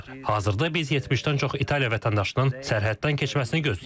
Hazırda biz 70-dən çox İtaliya vətəndaşının sərhəddən keçməsini gözləyirik.